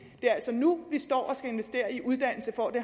det er altså nu vi står og skal investere i uddannelse for at